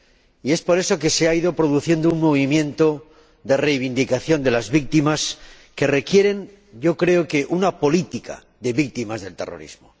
Y es por eso que se ha ido produciendo un movimiento de reivindicación de las víctimas que requiere, creo, una política para las víctimas del terrorismo.